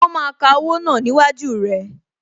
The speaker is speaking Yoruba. Wọn máa ka owó náà ni iwájú rẹ